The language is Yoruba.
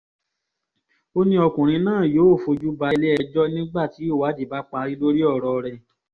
ó ní ọkùnrin náà yóò fojú balẹ̀-ẹjọ́ nígbà tí ìwádìí bá parí lórí ọ̀rọ̀ rẹ̀